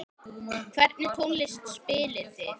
Hvernig tónlist spilið þið?